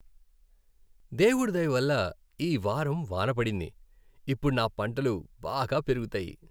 దేవుడి దయవల్ల ఈ వారం వాన పడింది. ఇప్పుడు నా పంటలు బాగా పెరుగుతాయి.